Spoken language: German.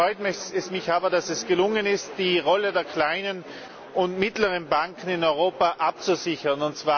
Ganz besonders freut es mich aber, dass es gelungen ist, die Rolle der kleinen und mittleren Banken in Europa abzusichern.